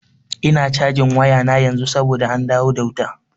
Ina cajin wayana yanzu saboda an dawo da wuta.